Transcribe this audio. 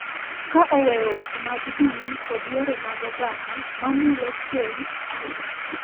ka oweyo weche mag din kod yore mag oganda ma mulo keny chuth,